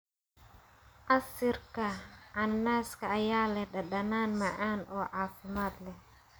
Casiirka cananaaska ayaa leh dhadhan macaan oo caafimaad leh.